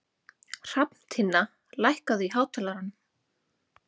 Hrafntinna, lækkaðu í hátalaranum.